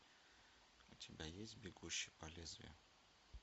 у тебя есть бегущий по лезвию